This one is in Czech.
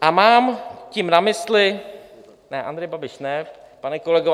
A mám tím na mysli - ne, Andrej Babiš ne, pane kolego.